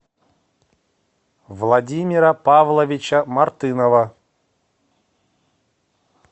владимира павловича мартынова